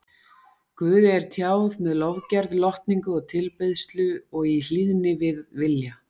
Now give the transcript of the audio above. Guði er tjáð með lofgerð, lotningu og tilbeiðslu og í hlýðni við vilja